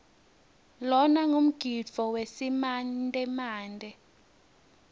lona ngumgidvo wesimantemante